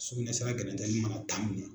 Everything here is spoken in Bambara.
Sukunɛsira gɛrɛntɛli mana taa